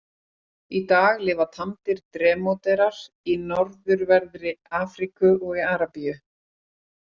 Í dag lifa tamdir drómedarar í norðanverðri Afríku og í Arabíu.